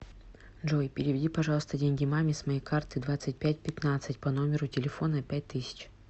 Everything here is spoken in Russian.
джой переведи пожалуйста деньги маме с моей карты двадцать пять пятнадцать по номеру телефона пять тысяч